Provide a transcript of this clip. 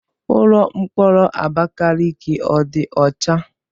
Ụlọ mkpọrọ Abakaliki ọ dị ọcha?